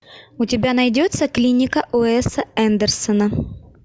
у тебя найдется клиника уэса андерсона